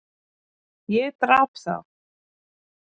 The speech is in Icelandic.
Ég drap þá.